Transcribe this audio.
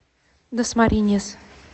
дасмариньяс